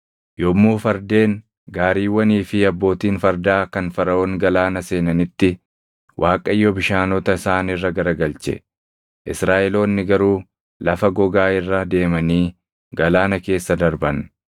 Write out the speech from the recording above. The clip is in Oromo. Yommuu fardeen, gaariiwwanii fi abbootiin fardaa kan Faraʼoon galaana seenanitti Waaqayyo bishaanota isaan irra garagalche; Israaʼeloonni garuu lafa gogaa irra deemanii galaana keessa darban.